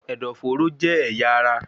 Ẹ̀dọ̀-fóró jẹ́ ẹ̀yà ara